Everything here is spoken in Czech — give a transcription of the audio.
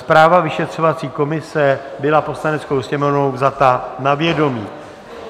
Zpráva vyšetřovací komise byla Poslaneckou sněmovnou vzata na vědomí.